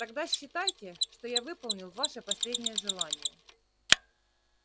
тогда считайте что я выполнил ваше последнее желание